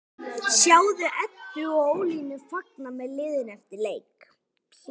Sjáðu Eddu og Ólínu fagna með liðinu eftir leik